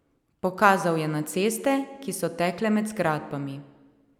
Pokazal je na ceste, ki so tekle med zgradbami.